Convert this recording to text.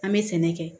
An bɛ sɛnɛ kɛ